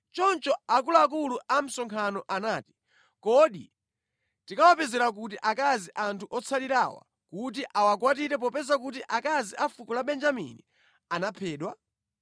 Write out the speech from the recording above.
Choncho akuluakulu a msonkhano anati, “Kodi tikawapezera kuti akazi anthu otsalirawa kuti awakwatire popeza kuti akazi a fuko la Benjamini anaphedwa?”